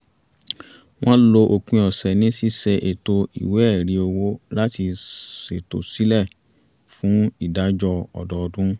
wọ́n lo òpin ọ̀sẹ̀ ní ṣíṣe ètò ìwé ẹ̀rí owó láti ṣ`tò sílẹ̀ fún ìdájọ́ ọdọọdún